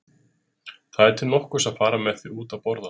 Það er til nokkurs að fara með þig út að borða!